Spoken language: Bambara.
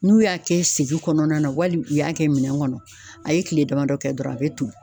N'u y'a kɛ segin kɔnɔna na wali u y'a kɛ minɛn kɔnɔ, a ye tile damadɔ kɛ dɔrɔn a bɛ toli.